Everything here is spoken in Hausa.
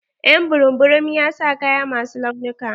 Y'an burum burum ya sa kaya ma su launuka.